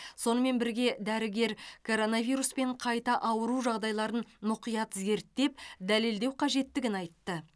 сонымен бірге дәрігер коронавируспен қайта ауыру жағдайларын мұқият зерттеп дәлелдеу қажеттігін айтты